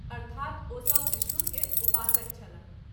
अर्थात् ओ सभ विष्णु के उपासक छलाह।